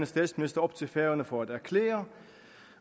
statsminister op til færøerne for at erklære